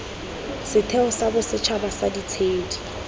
setheo sa bosetšhaba sa ditshedi